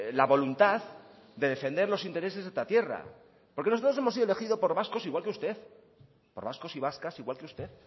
la voluntad de defender los intereses de esta tierra porque nosotros hemos sido elegidos por vascos igual que usted por vascos y vascas igual que usted